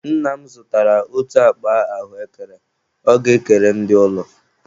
Nna m zụtara otu akpa ahụekere ọ ga-ekere ndị ụlọ.